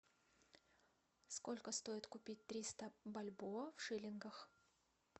сколько стоит купить триста бальбоа в шиллингах